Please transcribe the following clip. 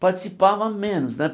Participava menos, né?